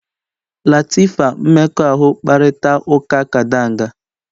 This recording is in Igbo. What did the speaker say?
Latifa mmekọahụ kparịta ụka kadanga